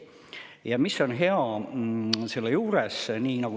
Ja mis on hea selle juures?